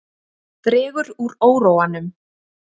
Dregur úr óróanum